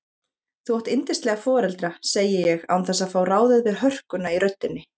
Þú átt yndislega foreldra, segi ég án þess að fá ráðið við hörkuna í röddinni.